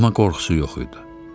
Amma qorxusu yox idi.